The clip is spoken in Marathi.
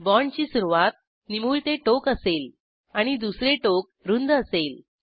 बाँडची सुरूवात निमुळते टोक असेल आणि दुसरे टोक रूंद असेल